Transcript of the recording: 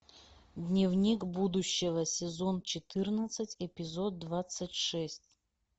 дневник будущего сезон четырнадцать эпизод двадцать шесть